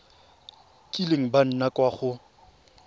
kileng ba nna kwa go